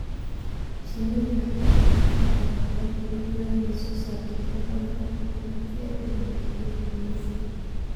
Shinnidu waxay u baahan tahay boqorad awood u leh inay soo saarto tiro badan oo ukun ah si ay u ilaaliso dadka gumaysiga.